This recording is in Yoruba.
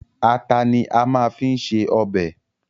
Ata ni a máa fi ń se ọbẹ̀